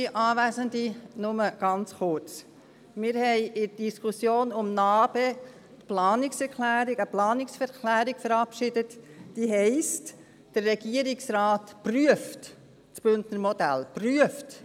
Wir verabschiedeten in der Diskussion um NABE eine Planungserklärung, in welcher es heisst, dass der Regierungsrat das Bündner Modell prüft: